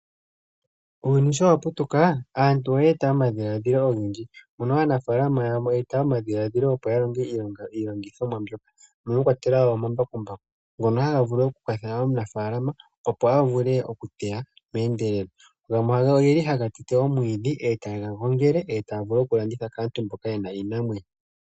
Uuyuni sho wa putuka, aantu oye eta omadhiladhilo ogendji, mono aanafaalama yamwe ye eta omadhiladhilo, opo ya longe iilongithomwa mbyoka mono mwa kwatelwa wo omambakumbaku, ngono haga vulu oku kwathela omunafaalama, opo a vule oku teya meendelelo, gamwe ogeli haga tete omwiidhi, etaga gongele, etaya vu oku landitha kaantu mboka yena iinamwenyo.